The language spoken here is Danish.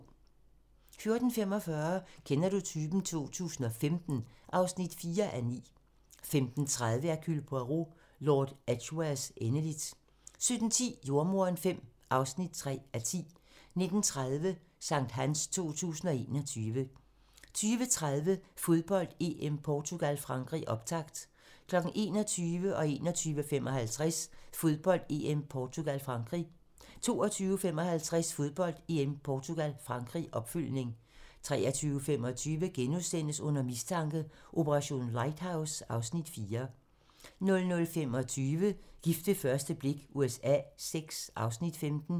14:45: Kender du typen? 2015 (4:9) 15:30: Hercule Poirot: Lord Edgwares endeligt 17:10: Jordemoderen V (3:10) 19:30: Sankthans 2021 20:30: Fodbold: EM - Portugal-Frankrig, optakt 21:00: Fodbold: EM - Portugal-Frankrig 21:55: Fodbold: EM - Portugal-Frankrig 22:55: Fodbold: EM - Portugal-Frankrig, opfølgning 23:25: Under mistanke: Operation Lighthouse (Afs. 4)* 00:25: Gift ved første blik USA VI (Afs. 15)